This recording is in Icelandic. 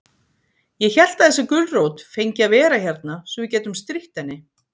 Ég hélt að þessi gulrót fengi að vera hérna svo við gætum strítt henni.